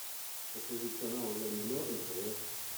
покажи канал ля минор на тв